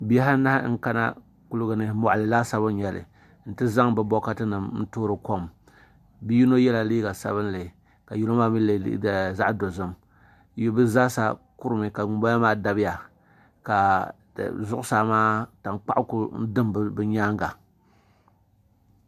Bihi anahi n kana kuligi ni moɣali laasabu n nyɛli n ti zaŋ bi bokati nim toori kom bia yino yɛla liiga dabinli ka yino maa mii yɛ liiga zaɣ dozim bi zaa sa kurimi ka ŋunbala maa dabiya ka zuɣusaa maa ka tankpaɣu ku dim bi nyaanga